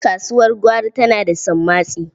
Kasuwar gwari tana da sammatsi.